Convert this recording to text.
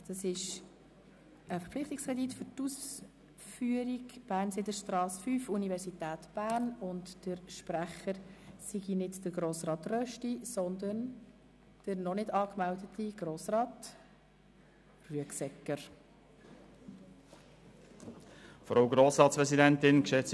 Der Sprecher ist scheinbar nicht Grossrat Rösti, sondern der noch nicht in die Rednerliste eingetragene Grossrat Rüegsegger.